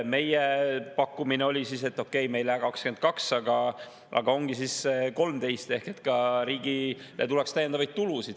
Meie pakkumine oli siis, et okei, me ei lähe 22%‑le, aga ongi 13%, ehk et ka riigile tuleks täiendavaid tulusid.